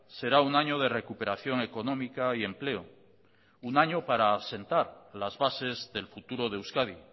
será un año de recuperación económica y empleo un año para asentar las bases del futuro de euskadi